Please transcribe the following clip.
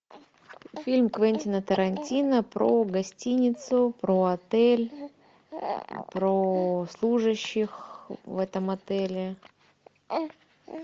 фильм квентина тарантино про гостиницу про отель про служащих в этом отеле